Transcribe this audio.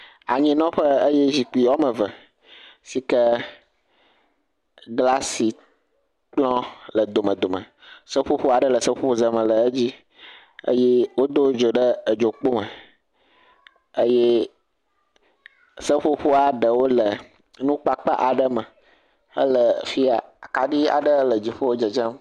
Anyinɔƒe eye zikpyui woame eve, si ke glasi kplɔ le domedome, seƒoƒo aɖe le seƒoƒoze me le dzi eye wodo dzo ɖe edzo kpo me, eye seƒoƒoa ɖewo le nukpakpa aɖe me hele fi ya, kaɖi aɖe le dziƒo le dzedzem,